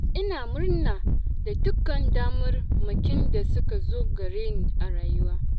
Ina murna da dukkan damarmakin da suka zo gare ni a rayuwa.